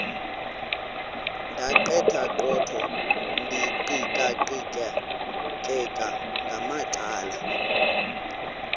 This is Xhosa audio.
ndaqetheqotha ndiqikaqikeka ngamacala